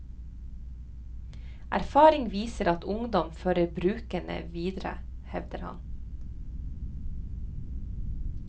Erfaring viser at ungdom fører brukene videre, hevder han.